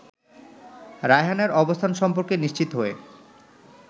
রায়হানের অবস্থান সম্পর্কে নিশ্চিত হয়ে